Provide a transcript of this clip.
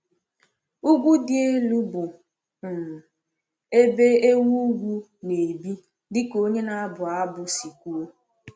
Ugwu dị elu bụ um ebe ewu ugwu na-ebi, dị ka onye na-abụ abụ si kwuo.